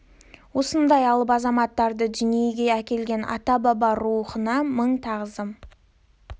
осындай алып азаматтарды дүниеге әкелген ата баба рухына мың тағзым